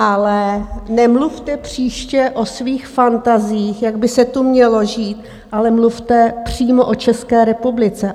Ale nemluvte příště o svých fantaziích, jak by se tu mělo žít, ale mluvte přímo o České republice.